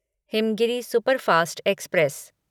Himgiri superfast express